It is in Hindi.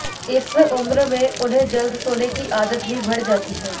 इस उम्र में उनमें जल्द सोने की आदत भी बढ़ जाती है